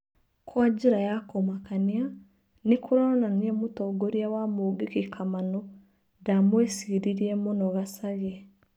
Kwa njĩra ya kũmakania, nĩkũronania mũtongoria wa mũngĩkĩ Kamanũ, ndamwicirirĩe mũno Gacagĩ.